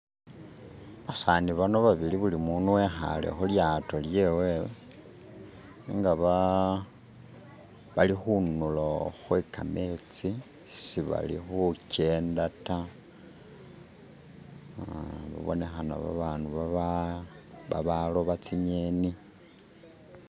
Basani bano babili bulimundu e'khale khulyato lyewe nenga bali khunulo khwe kametsi shibali khukenda ta babonekhana babandu babaloba tsi ng'eni